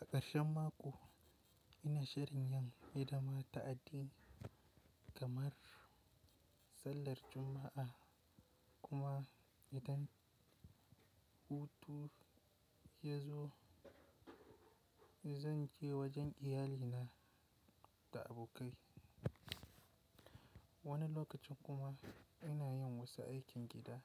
A ƙarshe mako ina shirin yin hidima ta addini kamar sallar Juma'a kuma idan hutu yazo zan je wajen iyalina da abokai. Wani lokacin kuma ina yin wasu aikin gida